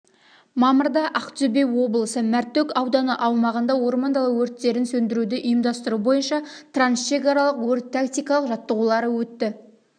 мамырда ақтөбе облысы мәртөк ауданы аумағында орман дала өрттерін сөндіруді ұйымдастыру бойынша трансшекаралық өрт-тактикалық жаттығулары өтті